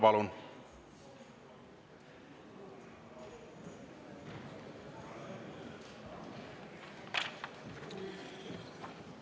Palun!